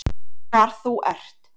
Hvar þú ert